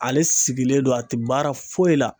Ale sigilen don a te baara foyi la